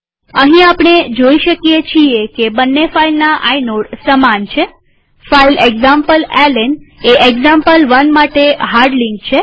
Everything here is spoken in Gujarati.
અહીં આપણે જોઈ શકીએ છીએ કે બંને ફાઈલના આઇનોડ સમાન છેફાઈલ એક્ઝામ્પલેલ્ન એ એક્ઝામ્પલ1 માટે હાર્ડ લિંક છે